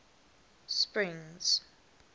springs